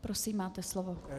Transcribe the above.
Prosím, máte slovo.